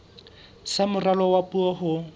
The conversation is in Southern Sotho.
sa moralo wa puo ho